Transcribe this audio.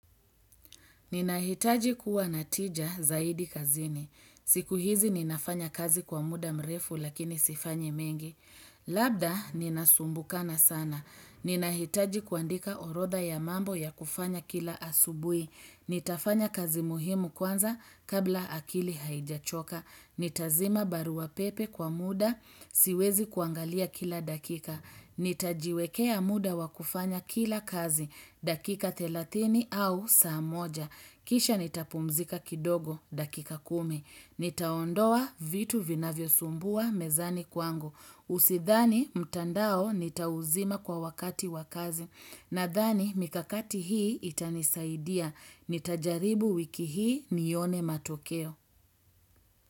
Ninahitaji kuwa na tija zaidi kazini. Siku hizi ninafanya kazi kwa muda mrefu lakini sifanyi mengi. Labda ninasumbukana sana. Ninahitaji kuandika orodha ya mambo ya kufanya kila asubui. Nitafanya kazi muhimu kwanza kabla akili haijachoka. Nitazima barua pepe kwa muda, siwezi kuangalia kila dakika. Nitajiwekea muda wa kufanya kila kazi, dakika thelathini au saa moja. Kisha nitapumzika kidogo, dakika kumi. Nitaondoa vitu vinavyosumbua mezani kwangu. Usidhani, mtandao, nitauzima kwa wakati wa kazi. Nadhani mikakati hii itanisaidia. Nitajaribu wiki hii nione matokeo.